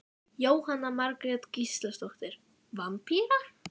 Jóhanna Margrét Gísladóttir: Vampíra?